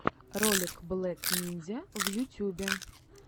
ролик блек нинзя в ютюбе